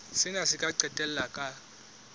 sena se ka qetella ka